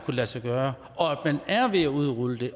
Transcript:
lade sig gøre og man er ved at udrulle det